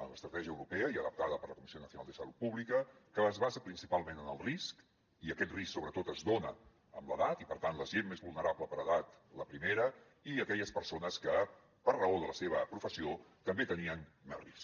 en l’estratègia europea i adaptada per la comissió nacional de salut pública que es basa principalment en el risc i aquest risc sobretot es dona amb l’edat i per tant la gent més vulnerable per edat la primera i aquelles persones que per raó de la seva professió també tenien més risc